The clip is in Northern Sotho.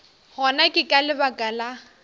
gona ke ka lebaka la